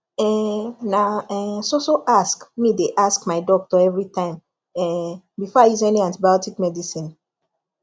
um na um so so ask me dey ask my doctor everi time um before i use any antibiotic medicine